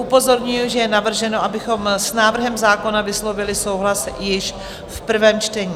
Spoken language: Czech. Upozorňuji, že je navrženo, abychom s návrhem zákona vyslovili souhlas již v prvém čtení.